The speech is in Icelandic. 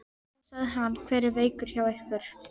Nú, sagði hann, hver er veikur hjá ykkur?